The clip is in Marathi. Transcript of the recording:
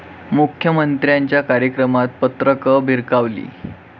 मुख्यमंत्र्यांच्या कार्यक्रमात पत्रकं भिरकावली